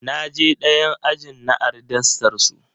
Na je ɗayan ajin na ari dastar su.